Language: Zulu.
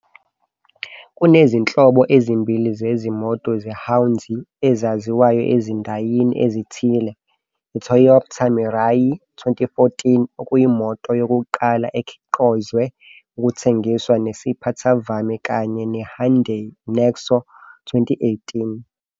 Kunezinhlobo ezimbili zezimoto zehwanzi ezaziwayo ezindayini ezithile- iToypta Mirai, 2014-, okuyimoto yokuqala ekhiqozwe ukuthengiswa enesiphathavame, kanye neHyindai Nexo, 2018-.